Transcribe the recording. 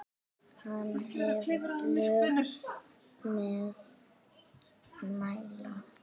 Hann hafði lög að mæla.